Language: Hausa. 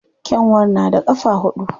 Kyanwa na da ƙafa huɗu.